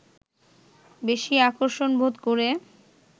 বেশি আকর্ষণবোধ করে